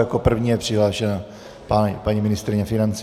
Jako první je přihlášena paní ministryně financí.